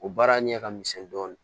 O baara ɲɛ ka misɛn dɔɔni